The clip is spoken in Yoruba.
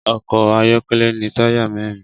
Ọkọ́ ayọ́kọ́lẹ́ ní táyà mẹ́rin